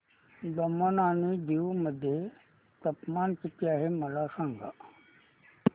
दमण आणि दीव मध्ये तापमान किती आहे मला सांगा